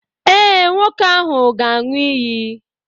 Ee, nwoke ahụ ga-aṅụ iyi.